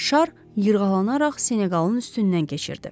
Şar yırğalanaraq Senoqalın üstündən keçirdi.